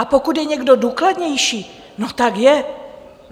A pokud je někdo důkladnější, no tak je.